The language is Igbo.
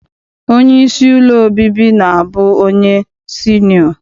Onyeisi ụlọ obibi na-abụ onye sinịọ.